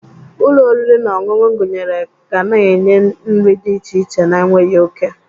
Ụlọ oriri na ọṅụṅụ gụnyere ga na-enye nri dị iche iche na-enweghị oke.